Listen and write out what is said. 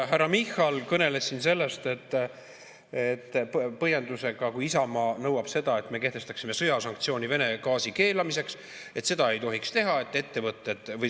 Härra Michal kõneles siin, et kui Isamaa nõuab seda, et me kehtestaksime sõjasanktsiooni Vene gaasi keelamiseks, siis seda ei tohiks teha.